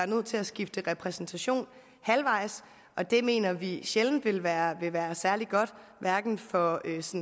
nødt til at skifte repræsentation halvvejs og det mener vi sjældent vil være vil være særlig godt for